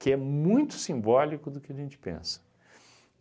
Que é muito simbólico do que a gente pensa.